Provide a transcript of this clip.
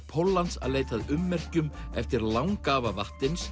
Póllands að leita að ummerkjum eftir langafa